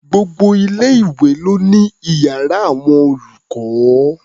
Gbogbo ilé-ìwé ló ní iyàrá àwọn olùkọ́.